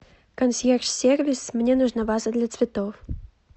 консьерж сервис мне нужна ваза для цветов